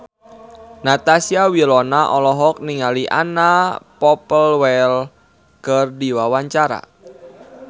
Natasha Wilona olohok ningali Anna Popplewell keur diwawancara